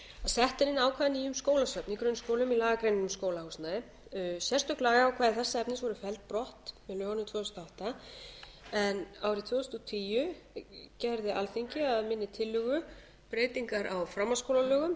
sett er inn ákvæði að nýju um skólasöfn í grunnskólum í lagagreinina um skólahúsnæði sérstök lagaákvæði þess efnis voru felld brott með lögunum tvö þúsund og átta en árið tvö þúsund og tíu gerði alþingi að minni tillögu breytingar á framhaldsskólalögum þar